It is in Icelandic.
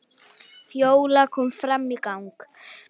Fjóla kom fram í gang.